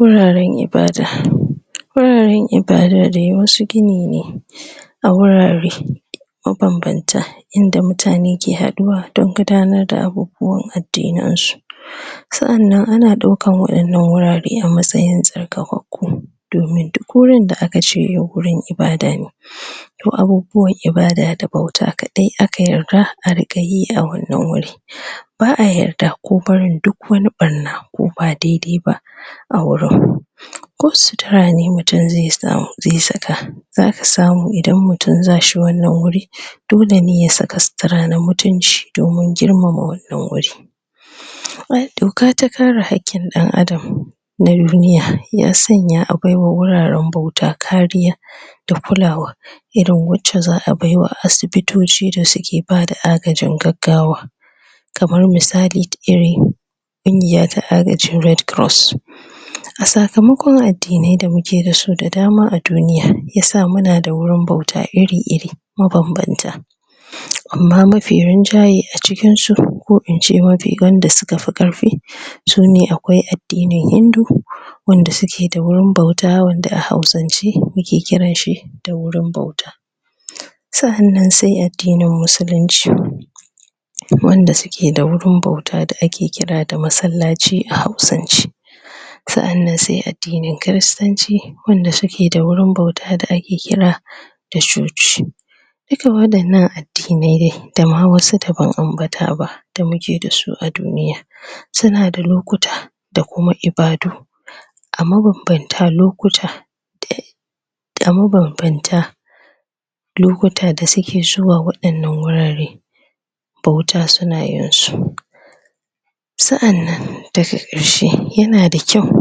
Wuraren ibada. Wurare ibada dai wasu gini ne, a wurare mabanbanta, inda mutane ke haduwa don gudanar da abubuwa addinin su. Sa'anan ana daukar waɗannan wurare a matsayin tsarkakaku, domin duk wurin da aka ce yau wurin ibada ne, to abubuwan ibada da bauta kadai aka yarda a ringa yi a wannan wuri. Ba'a yarda ko barin duk wani ɓarna ko wani ba daidai ba a wurin ko sutura ne mutum zai saka, za samu idan mutum zashi wannan wuri, dole ne ya saka sutura na mutunci domin girmama wannan wuri. Doka ta kare hakkin dan adam na duniya ya sanya a bai wa wuraren bauta kariya da kulawa,, irin wacce za a bai wa asibitoci da suke bada agajin gaggawa, kamar misali, kungiyar ta agaji ta Red Cross. A sakamakon addinai da muke dasu da dama a duniya yasa muna da wurin bauta iri-iri mabanbanta, Amma mafi rinjayen a cikin su ko in ce mafi wanda suka fi karfi sune akwai addinin Hindu, wanda suke da wurin bauta wanda a hausance muke kiran shi da wurin bauta. Sa'anan sai addinin musulunci, wanda suke da wurin bauta da ake kira da masallaci a hausance. Sa'anan sai addinin kiristanci, wanda suke da wurin bauta daske kira da cociwanda suke da wurin bauta daske kira da coci. Duk waɗannan addinai dai da ma wasu da bamu ambata ba da muke dasu a duniya, suna da lokuta da kuma ibadu a mabanbantan lokuta a mabanbantan lokuta da suke zuwa wannan wuraren bauta suna yin su Sa'anan daga karshe yana da kyau,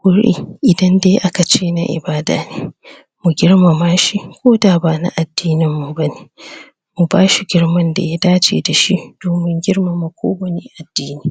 guri idan dai aka ce na ibada ne, mu girmama shi koda ba na addinin mu bane, mu bashi girman da ya dace dashi domin girmama ko wane addini.